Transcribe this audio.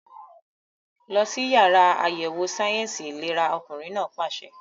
Lọ sí yàrá àyẹ̀wò sáyẹ̀nsì ìlera! Ọkùnrin náà pàṣẹ.